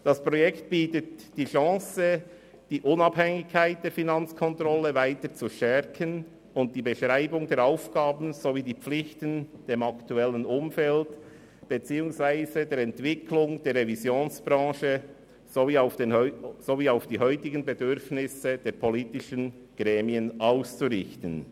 Das Projekt bietet die Chance, die Unabhängigkeit der Finanzkontrolle weiter zu stärken und die Beschreibung der Aufgaben sowie der Pflichten dem aktuellen Umfeld beziehungsweise der Entwicklung der Revisionsbranche anzupassen und nach den heutigen Bedürfnissen der politischen Gremien auszurichten.